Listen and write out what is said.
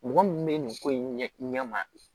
Mɔgɔ mun bɛ nin ko in ɲɛma